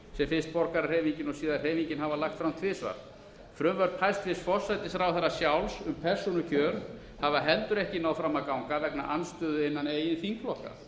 sem fyrst borgarahreyfingin og síðar hreyfingin hafa lagt fram tvisvar frumvörp hæstvirtur forsætisráðherra sjálfs um persónukjör hafa heldur ekki náð fram að ganga vegna andstöðu innan eigin þingflokka þar er